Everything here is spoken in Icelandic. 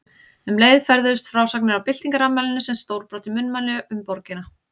Um leið ferðuðust frásagnir af byltingarafmælinu sem stórbrotin munnmæli um borgina.